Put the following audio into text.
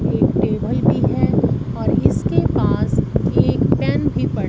एक टेबल भी है और इसके पास एक पेन भी पड़ --